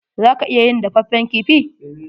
Za ka iya yin dafaffen kifi.